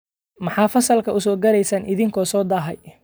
Maxaad fasalka u soo galeesan idinko soo daahay?